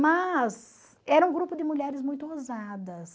Mas era um grupo de mulheres muito ousadas.